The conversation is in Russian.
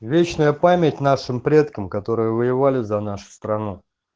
вечная память нашим предкам которые воевали за нашу страну